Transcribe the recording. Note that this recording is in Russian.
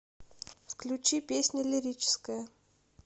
включи песня лирическая